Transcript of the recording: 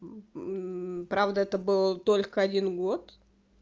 правда это был только один год